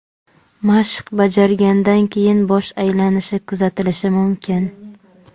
Mashq bajargandan keyin bosh aylanishi kuzatilishi mumkin.